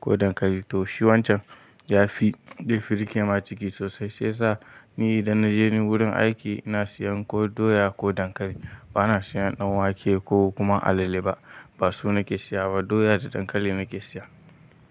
ko dankali to shi wancan ya fi, ya fi riƙe ma ciki sosai. Sai sa ni idan na je ni wurin aiki ina siyan ko doya ko dankali. Ba na siyan ɗan wake ko kuma alale ba. Ba su nake siya ba doya da dankali nake siya.